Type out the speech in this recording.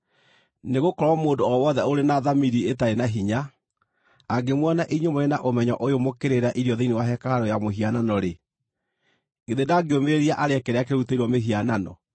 Nĩgũkorwo mũndũ o wothe ũrĩ na thamiri ĩtarĩ na hinya, angĩmuona inyuĩ mũrĩ na ũmenyo ũyũ mũkĩrĩĩra irio thĩinĩ wa hekarũ ya mũhianano-rĩ, githĩ ndangĩũmĩrĩria arĩe kĩrĩa kĩrutĩirwo mĩhianano?